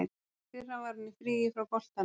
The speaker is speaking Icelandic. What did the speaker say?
Í fyrra var hann í fríi frá boltanum.